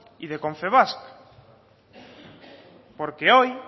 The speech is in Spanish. y de confebask porque hoy